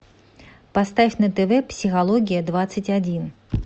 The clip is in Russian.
поставь на тв психология двадцать один